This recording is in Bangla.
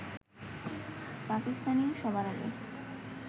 পাকিস্তানই সবার আগে